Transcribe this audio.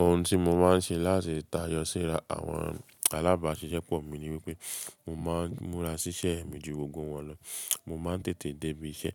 Ohun tí mo máa ń ṣe láti tayọ síra àwọn alábàáṣiṣẹ́ pọ̀ mí ní wípé mo máa ń múra ṣíṣe mi ju gbogbo wọn lọ. Mo máa ń tètè dé ibi iṣẹ́,